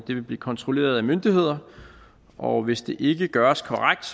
vil blive kontrolleret af myndighederne og hvis det ikke gøres korrekt